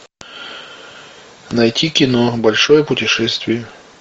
найти кино большое путешествие